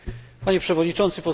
Panie Przewodniczący!